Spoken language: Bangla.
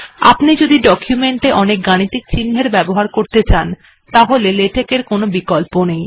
আপনি যদি ডকুমেন্ট এ অনেক গাণিতিক চিন্হের ব্যবহার করতে চান তাহলে লেটেক্ এর কোনো বিকল্প নেই